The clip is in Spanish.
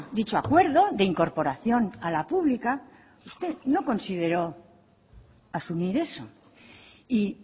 dicho acuerdo de incorporación a la pública usted no consideró asumir eso y